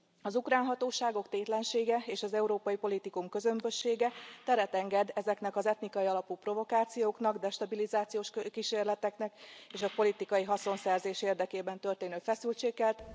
Az ukrán hatóságok tétlensége és az Európai politikum közömbössége teret enged ezeknek az etnikai alapú provokációknak, destabilizációs kísérleteknek, és a politikai haszonszerzés érdekében történő feszültségkelt